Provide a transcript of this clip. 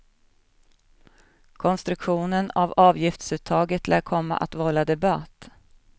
Konstruktionen av avgiftsuttaget lär komma att vålla debatt.